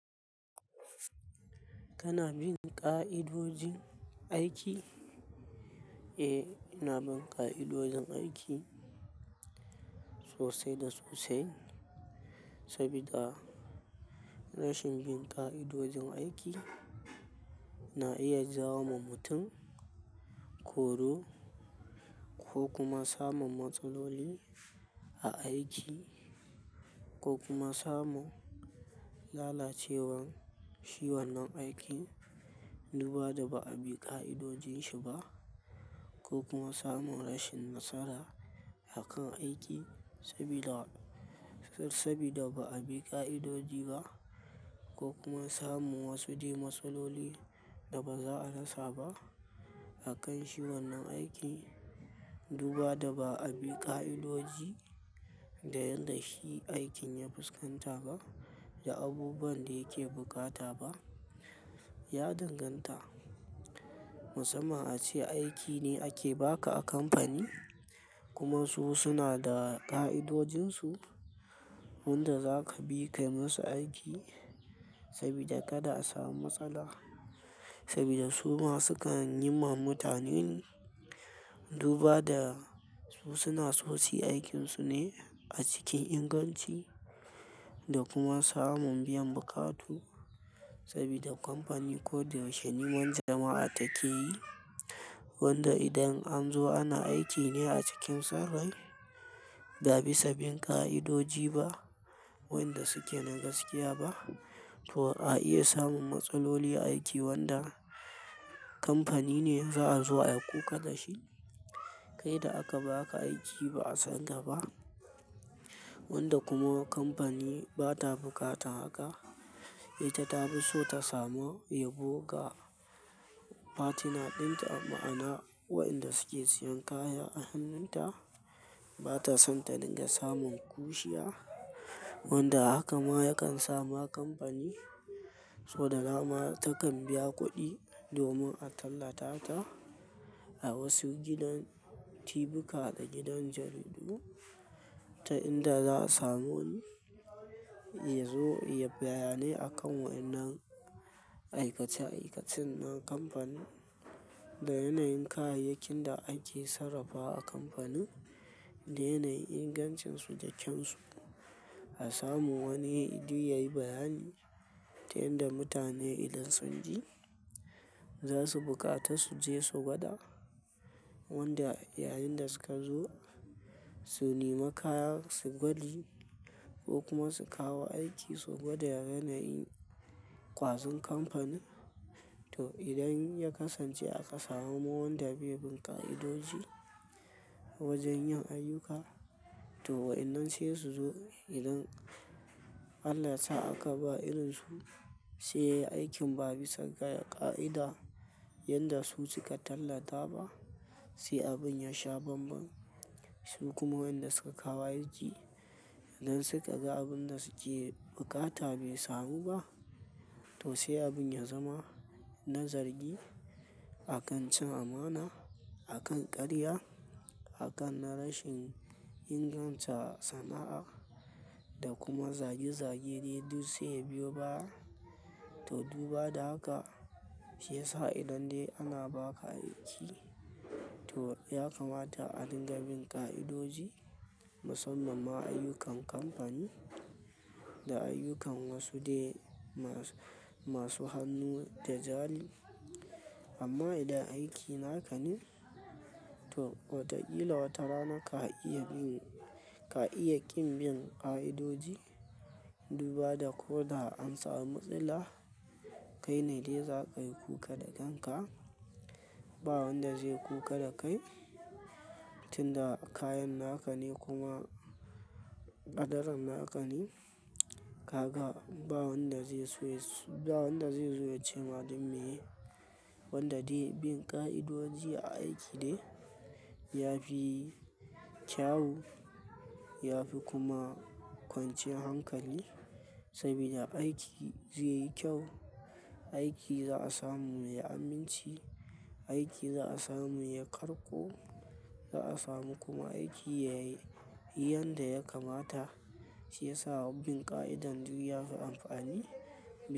Kana bin ƙa'idojin aiki? Eh, ina bin ƙa'idojin aiki sosai da sosai. Saboda rashin bin ƙa'idojin aiki na iya jawo wa mutum koro ko kuma samin matsaloli a aiki ko kuma samin lalacewar shi wannan aikin, Duba da ba'a bi ƙa'idojin shi ba ko kuma samun rashin matsala a kan aiki sabida, sabida ba a bi ƙa'idoji ba ko kuma samu wasu dai matsaloli da ba za a rasa ba a kan shi wannan aiki. Duba da ba'a bi ƙa'idoji da yadda shi aikin ya fuskanta ba da abubuwan da yake bukata ba ya danganta. Musamman ace aiki ne ake ba ka a kamfani kuma su suna da ƙa'idojinsu wanda za ka bi kai musu aiki sabida kada a samu matsala sabida su ma sukan yi ma mutane. Duba da su suna so suyi aikinsu ne a cikin inganci da kuma samun biyan buƙatu sabida kamfani ko da yaushe niman jama'a take yi. Wanda idan an zo ana aiki ne a cikin son rai ba bisa bin ƙa'idoji ba wanda suke na gaskiya ba to a iya samun matsaloli a aiki wanda kamfani ne za a zo ayi kuka da shi. Kai da aka baka aiki ba a san ka ba wanda kuma kamfani ba ta bukatan haka. Ita ta fi so ta samu yabo ga partner dinta a ma'ana wa'inda suke siyan kaya a hannunta ba ta so ta dinga samun kushiya wanda haka ma ya kan sama kamfani so da dama takan biya kuɗi domin a tallata ta a wasu gidan tibika da gidan jaridu ta inda za su samu wani ya zo ya yi bayani a kan wa'yannan aikace-aikacen na kamfani da yanayin kayayyakin da ake sarrafawa a kamfanin da yanayin ingancinsu da kyansu. A samu wani yaje yayi bayani ta yadda mutane idan sun ji za su bukata su je su gwada wanda yayin da suka zo su nema kaya su gwaji ko kuma su kawo aiki su gwada yanayin ƙwazon kamfani. To idan ya kasance aka samu wanda bai bin ƙa'idoji wajen yin ayyuka to wa'yannan sai su zo idan Allah yasa aka ba irin su sai aikin ba bisa ga ƙa'ida yadda su suka tallata ba sai abun ya sha banban. Su kuma wa'inda suka kawo aiki idan suka ga abun da suke bukata bai samu ba to sai abun ya zama na zargi a kan cin amana, a kan ƙarya, a kan na rashin inganta sana'a da kuma zage-zage dai duk sai ya biyo baya. To duba da haka shiyasa idan dai ana ba ka aiki to ya kamata a dinga bin ƙa'idoji musamman ma ayyukan kamfani da ayyukan wasu dai masu hannu da zali. Amma idan aiki na ka ne to watakila wata rana ka iya ƙin, ka iya ƙin bin ƙa'idoji duba da ko da an samu matsala kai ne dai za ka yi kuka da kanka. Ba wanda zai kuka da kai tunda kayan naka ne kuma ƙaddarin naka ne. Kaka ba wanda zai so yi, ba wanda zai zo ya ce ma dan me, wanda dai bin ƙa'idoji a aiki dai ya fi kyawu ya fi kuma kwanciyar hankali sabida aiki zai yi kyau, aiki za a samu mai aminci, aiki za a samu mai ƙarƙo, za a samu kuma aiki yayi yadda ya kamata shi ya sa bin ƙa'idan duk yafi amfani.